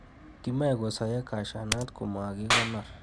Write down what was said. Kimoe kosoyo cashew nuts komokikonor.